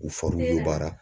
U